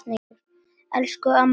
Elsku amma Rósa.